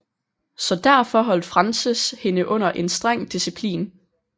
Så derfor holdt Frances hende under en streng disciplin